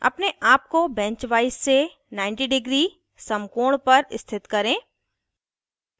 अपने आप को बेंच वाइस से 90 डिग्री समकोण पर स्थित करें